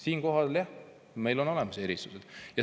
Siinkohal, jah, meil on eri.